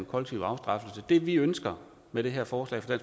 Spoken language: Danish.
kollektiv afstraffelse det vi ønsker med det her forslag